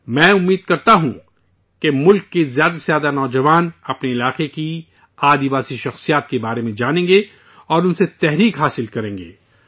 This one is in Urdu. میں امید کرتا ہوں کہ ملک کے زیادہ سے زیادہ نوجوان اپنے علاقے کی آدیواسی شخصیتوں کے بارے میں جانیں گے اور ان سے سبق حاصل کریں گے